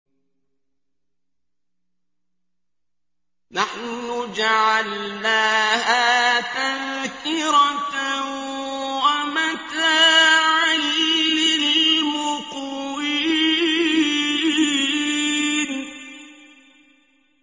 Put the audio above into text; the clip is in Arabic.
نَحْنُ جَعَلْنَاهَا تَذْكِرَةً وَمَتَاعًا لِّلْمُقْوِينَ